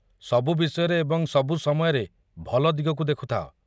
ସବୁ ବିଷୟରେ ଏବଂ ସବୁ ସମୟରେ ଭଲ ଦିଗକୁ ଦେଖୁଥାଅ।